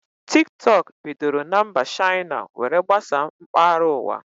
Tiktọk bidoro na mba Shaina were gbasaa mkpahara ụwa